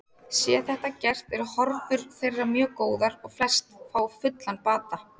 Sé þetta gert eru horfur þeirra mjög góðar og flest fá fullan bata.